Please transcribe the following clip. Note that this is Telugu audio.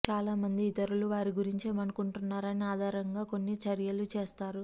చాలామంది ఇతరులు వారి గురించి ఏమనుకుంటారో దాని ఆధారంగా కొన్ని చర్యలు చేస్తారు